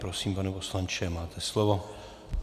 Prosím, pane poslanče, máte slovo.